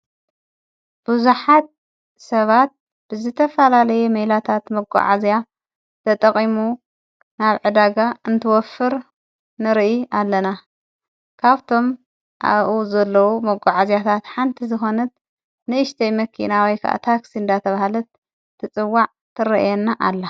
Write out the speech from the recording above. ብዙሓት ሰባት ብዝተፈላለየ ሜላታት መጕዓዚያ ተጠቒሙ ናብ ዕዳጋ እንትወፍር ንርኢ ኣለና ካብቶም ኣብኡ ዘለዉ መጎዓዚያታት ሓንቲ ዝኾነት ንኢሽተይ መኪና ወይ ከዓ ታክሲ እንዳተብሃለት ትጽዋዕ ትርአየና ኣላ።